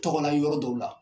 Tɔgɔ la yɔrɔ dɔw la.